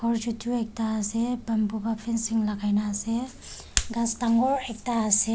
aru chutu ekta ase bamboo pa fencing lakai na ase ghas dangor ekta ase.